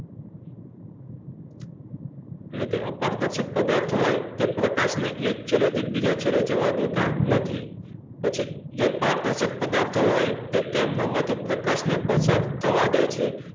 એટલે કે અપારદર્શક પદાર્થ હોય તે પ્રકાશને એક છેડેથી બીજા છેડે જવા દેતા નથી પછી જે પારદર્શક પદાર્થ હોય તે તેમનામાંથી પ્રકાશને પસાર થવા દે છે